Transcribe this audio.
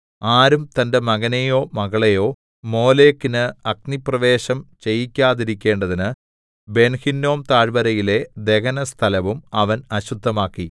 ആരും തന്റെ മകനെയോ മകളെയോ മോലെക്കിന് അഗ്നിപ്രവേശം ചെയ്യിക്കാതിരിക്കേണ്ടതിന് ബെൻഹിന്നോം താഴ്വരയിലെ ദഹനസ്ഥലവും അവൻ അശുദ്ധമാക്കി